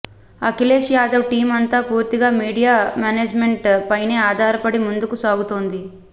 Akhilesh Yadav team అంతా పూర్తిగా media management పైనే ఆధారపడి ముందుకు సాగుతోంది